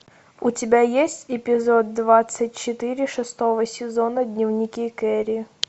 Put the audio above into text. у тебя есть эпизод двадцать четыре шестого сезона дневники кэрри